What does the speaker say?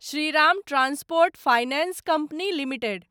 Shriram transport finance company limited